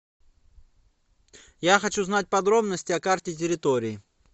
я хочу знать подробности о карте территории